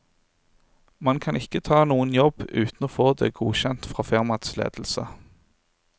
Man kan ikke ta noen jobb uten å få det godkjent fra firmaets ledelse.